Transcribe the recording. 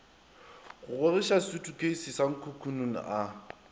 gogoiša sutukheisi sa nkukununu a